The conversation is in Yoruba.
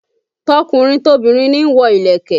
Tọkùnrin tobìnrin ni wọ́n lo ìlẹ̀kẹ̀